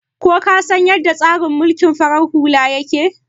Ka san yadda tsarin mulkin farar hula yake aiki?